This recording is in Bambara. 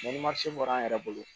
ni bɔra an yɛrɛ bolo